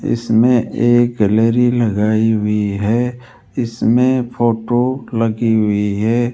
इसमें एक गैलरी लगाई हुई है इसमें फोटो लगी हुई है।